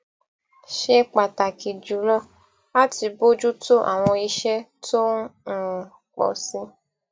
ṣe pàtàkì jùlọ láti bójú tó àwọn iṣẹ tó ń um pò sí i